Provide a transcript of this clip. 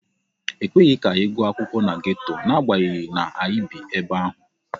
Ekweghị ka anyị gụọ akwụkwọ na geto n'agbanyeghị na anyị bi ebe ahụ.